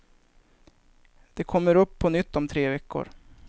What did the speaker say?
Det kommer upp på nytt om tre veckor.